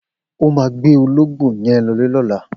O má gbé ológbó yen lõlé lõlá